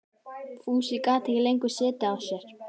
Fúsi gat ekki lengur setið á sér.